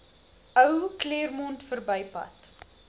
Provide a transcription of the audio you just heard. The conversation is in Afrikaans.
ou claremont verbypad